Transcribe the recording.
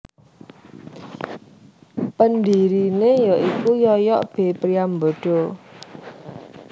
Pendirine ya iku Yoyok B Priambodo